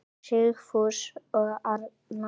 Sigfús og Arna.